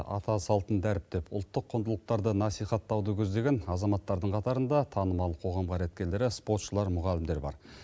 ата салтын дәріптеп ұлттық құндылықтарды насихаттауды көздеген азаматтардың қатарында танымал қоғам қайраткерлері спортшылар мұғалімдер бар